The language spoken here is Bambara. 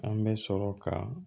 An bɛ sɔrɔ ka